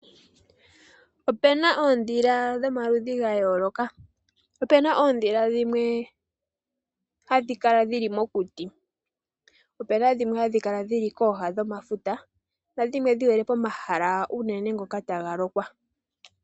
Opena oondhila dhomaludhi ga yooloka. Opena oondhila dhimwe hadhi kala dhili mokuti ,po opena dhimwe hadhi kala dhili kooha dhomafuta nadhimwe dhihole pomahala unene ngoka taga lokwa.